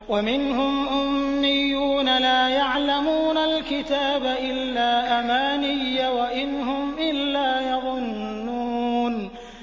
وَمِنْهُمْ أُمِّيُّونَ لَا يَعْلَمُونَ الْكِتَابَ إِلَّا أَمَانِيَّ وَإِنْ هُمْ إِلَّا يَظُنُّونَ